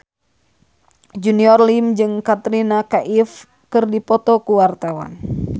Junior Liem jeung Katrina Kaif keur dipoto ku wartawan